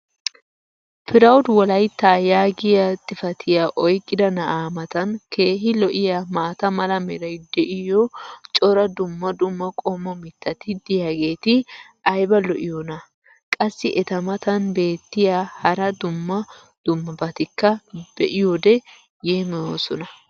"proud wolaita" yaagiya xifatiyaa oyqqida na"aa matan keehi lo'iyaa maata mala meray diyo cora dumma dumma qommo mitati diyaageti ayba lo'iyoonaa? qassi eta matan beetiya hara dumma dummabatikka be'iyoode yeemmoyoosona.